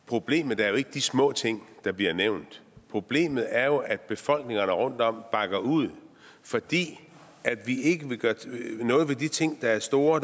problemet er jo ikke de små ting der bliver nævnt problemet er jo at befolkningerne rundtom bakker ud fordi vi ikke vil gøre noget ved de ting der er store og